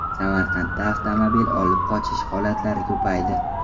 Samarqandda avtomobil olib qochish holatlari ko‘paydi.